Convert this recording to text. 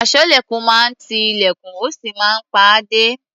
Aṣọ́lẹ̀kùn máa ń ti ilẹ̀kùn, ó sì máa ń pa á dé.